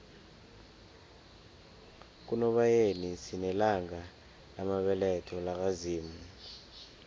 kunobayeni sinelanga lamabeletho laka zimu